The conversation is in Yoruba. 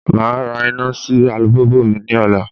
Màá ra iná sí alùpùpù mi ní ọ̀la